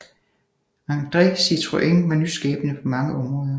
André Citroën var nyskabende på mange områder